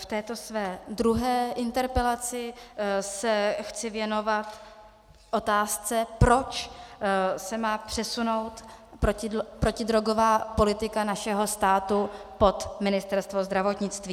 V této své druhé interpelaci se chci věnovat otázce, proč se má přesunout protidrogová politika našeho státu pod Ministerstvo zdravotnictví.